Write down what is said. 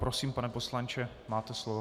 Prosím, pane poslanče, máte slovo.